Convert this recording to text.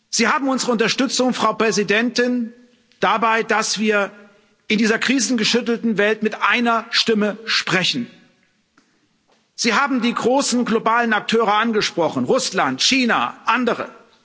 Sie haben unsere Unterstützung, Frau Präsidentin, dabei, dass wir in dieser krisengeschüttelten Welt mit einer Stimme sprechen. Sie haben die großen globalen Akteure angesprochen Russland, China, andere.